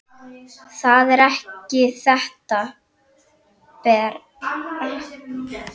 Það er ekki þetta, Bera!